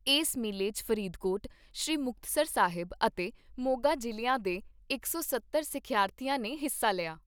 ਏਸ ਮੇਲੇ 'ਚ ਫਰੀਦਕੋਟ, ਸ੍ਰੀ ਮੁਕਤਸਰ ਸਾਹਿਬ ਅਤੇ ਮੋਗਾ ਜ਼ਿਲ੍ਹਿਆਂ ਦੇ ਇਕ ਸੌ ਸੱਤਰ ਸਿੱਖਿਆਰਥੀਆਂ ਨੇ ਹਿੱਸਾ ਲਿਆ।